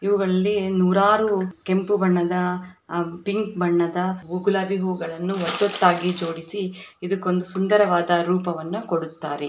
ಇವುಗಳಲ್ಲಿ ನೂರಾರು ಕೆಂಪು ಬಣ್ಣದ ಪಿಂಕ್ ಬಣ್ಣದ ಗುಲಾಬಿ ಹೂಗಳನ್ನ ಒತ್ತೊತ್ತಾಗಿ ಜೋಡಿಸಿ ಇದಕ್ಕೊಂದು ಸುಂದರವಾದ ರೂಪವನ್ನು ಕೊಡುತ್ತಾರೆ